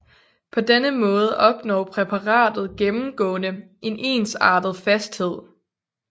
På denne måde opnår præparatet gennemgående en ensartet fasthed